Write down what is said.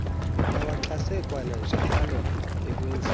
bawaxhase kananjalo ekwenzeni